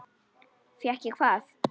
Fékk ég hvað?